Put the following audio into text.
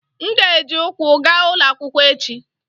M ga-eji ụkwụ gaa ụlọ akwụkwọ echi.